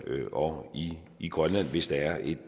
og i i grønland hvis der er et